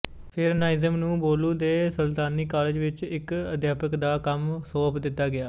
ਫਿਰ ਨਾਜ਼ਿਮ ਨੂੰ ਬੋਲੂ ਦੇ ਸੁਲਤਾਨੀ ਕਾਲਜ ਵਿੱਚ ਇੱਕ ਅਧਿਆਪਕ ਦਾ ਕੰਮ ਸੌਂਪ ਦਿੱਤਾ ਗਿਆ